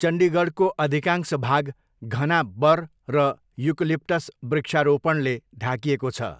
चण्डीगढको अधिकांश भाग घना बर र युकलिप्टस वृक्षारोपणले ढाकिएको छ।